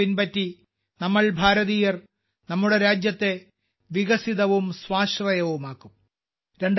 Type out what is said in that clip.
ഈ മന്ത്രം പിൻപറ്റി നമ്മൾ ഭാരതീയർ നമ്മുടെ രാജ്യത്തെ വികസിതവും സ്വാശ്രയവുമാക്കും